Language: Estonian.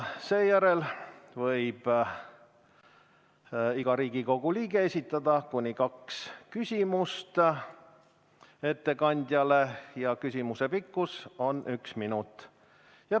Seejärel võib iga Riigikogu liige esitada ettekandjale kuni kaks küsimust ja küsimuse pikkus on üks minut.